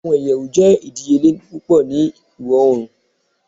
Awọn iyẹwu jẹ idiyele pupọ ni Oorun